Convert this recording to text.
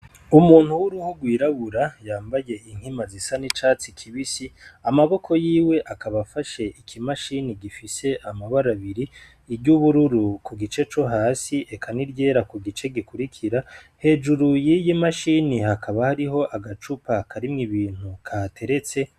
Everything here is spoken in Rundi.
Umuntu w'uruhu rwirabura yambaye inkima ziza n'urwatsi rubisi amaboko yiwe akaba afashe ikimashini gifise amabara abiri iryu bururu ku gice co hasi n'iryera ku gice gikwirikira hejuru yiyi mashini hakaba hariko agacupa karimwo ibintu kahateretse.